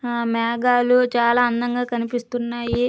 ఆ మేఘాలు చాల అందముగా కనిపిస్తున్నాయి.